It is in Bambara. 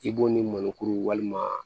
I b'o ni mɔnikuru walima